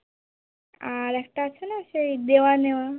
আর একটা আছে না সেই দেওয়া নেওয়া